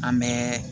An bɛ